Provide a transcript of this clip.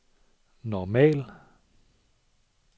normal